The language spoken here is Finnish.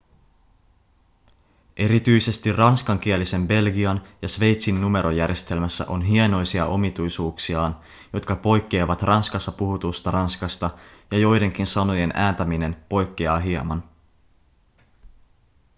erityisesti ranskankielisen belgian ja sveitsin numerojärjestelmässä on hienoisia omituisuuksiaan jotka poikkeavat ranskassa puhutusta ranskasta ja joidenkin sanojen ääntäminen poikkeaa hieman